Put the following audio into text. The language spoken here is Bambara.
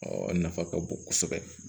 a nafa ka bon kosɛbɛ